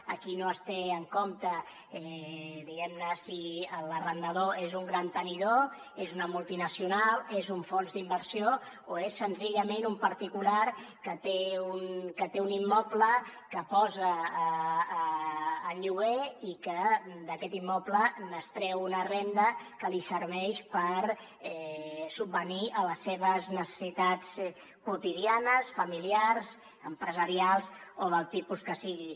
aquí no es té en compte diguem ne si l’arrendador és un gran tenidor és una multinacional és un fons d’inversió o és senzillament un particular que té un immoble que posa en lloguer i que d’aquest immoble n’extreu una renda que li serveix per subvenir a les seves necessitats quotidianes familiars empresarials o del tipus que sigui